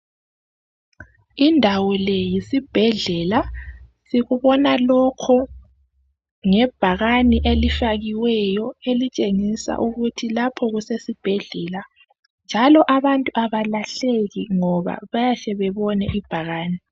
Indawo le yesibhedlela sikubona lokho ngebhakane elifakiweyo elitshengisa ukuthi lapha kusesibhedlela njalo abantu abalahleki ngoba bayahle bebone ibhakane.